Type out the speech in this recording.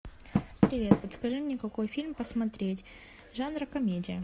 привет подскажи мне какой фильм посмотреть жанр комедия